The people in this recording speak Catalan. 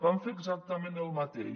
van fer exactament el mateix